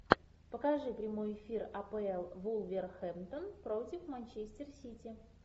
покажи прямой эфир апл вулверхэмптон против манчестер сити